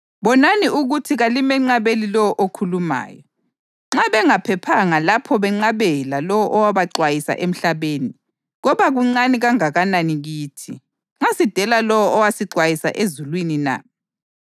Bonani ukuthi kalimenqabeli lowo okhulumayo. Nxa bengaphephanga lapho benqabela lowo owabaxwayisa emhlabeni, koba kuncane kangakanani kithi, nxa sidela lowo osixwayisa ezulwini na?